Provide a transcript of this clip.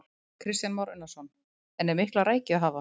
Kristján Már Unnarsson: En er mikla rækju að hafa?